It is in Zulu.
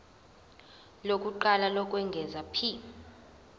lokuqala lokwengeza p